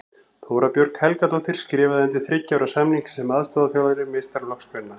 Þóra Björg Helgadóttir skrifaði undir þriggja ára samning sem aðstoðarþjálfari meistaraflokks kvenna.